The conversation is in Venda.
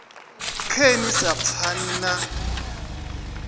khe ni sa pfani na